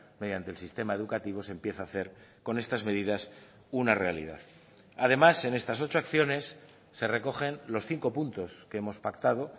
mediante el sistema educativo se empieza a hacer con estas medidas una realidad además en estas ocho acciones se recogen los cinco puntos que hemos pactado